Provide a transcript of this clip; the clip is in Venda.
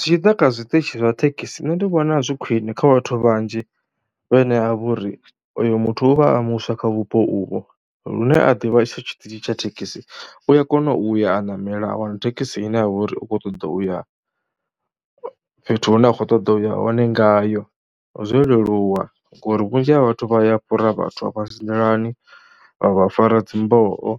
Zwi tshi ḓa kha zwiṱitshi zwa thekhisi, nṋe ndi vhona zwi khwine kha vhathu vhanzhi vhane ha vha uri uyu muthu u vha a muswa kha vhupo uvho, lune a ḓivha itsho tshiṱitshi tsha thekhisi, u ya kona u ya a ṋamela a wana thekhisi ine ya vha uri u khou ṱoḓa u ya fhethu hune a khou ṱoḓa u ya hone ngayo. Zwo leluwa ngori vhunzhi ha vhathu vha ya fhura vhathu afha dzi nḓilani vha vha fara dzi mboho